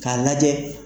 K'a lajɛ